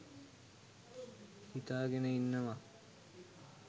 හිතාගෙන ඉන්නවා.